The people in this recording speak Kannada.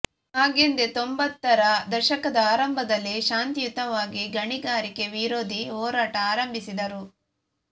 ಹಾಗೆಂದೇ ತೊಂಬತ್ತರ ದಶಕದ ಆರಂಭದಲ್ಲಿ ಶಾಂತಿಯುತವಾಗಿ ಗಣಿಗಾರಿಕೆ ವಿರೋಧಿ ಹೋರಾಟ ಆರಂಭಿಸಿದರು